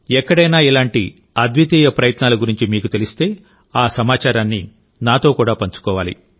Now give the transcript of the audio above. ఎక్కడైనా ఇలాంటి అద్వితీయ ప్రయత్నాల గురించి మీకు తెలిస్తేఆ సమాచారాన్ని నాతో కూడా పంచుకోవాలి